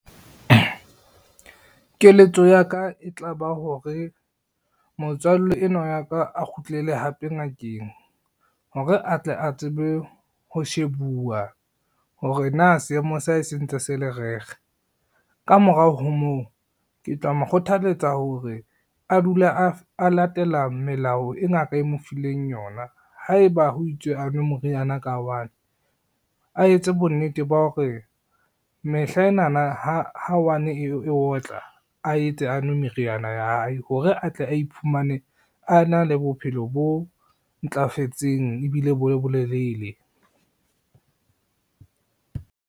Keletso ya ka e tlaba hore, motswalle enwa wa ka a kgutlele hape ngakeng hore a tle a tsebe ho shebuwa hore na seemo sa hae se ntse se le . Ka morao ho moo, ke tla mo kgothaletsa hore a dule a latela melao e ngaka e mo fileng yona, haeba ho itswe a nwe moriana ka one, a etse bonnete ba hore mehla enana ha one e otla a etse a nwe meriana ya hae hore atle a iphumane a na le bophelo bo ntlafetseng ebile bo le bolelele.